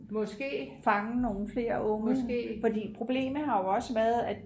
fange nogle flere unge for problemet har jo også været at